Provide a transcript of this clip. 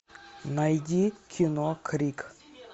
найди кино крик